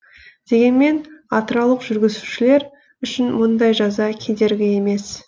дегенмен атыраулық жүргізушілер үшін мұндай жаза кедергі емес